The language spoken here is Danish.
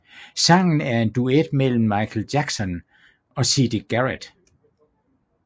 Sangen er en duet mellem Michael Jackson og Siedah Garrett